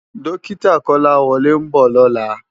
Dòkitá Kolawole n bò lòlá